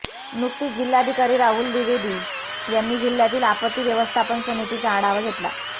नुकतीच जिल्हाधिकारी राहुल दिवेदी यांनी जिल्ह्यातील आपत्ती व्यवस्थापन समितीचा आढावा घेतला